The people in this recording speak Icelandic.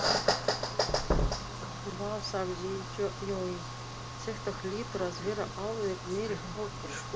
Vá sagði Jói, þetta hlýtur að vera alveg meiriháttar skúr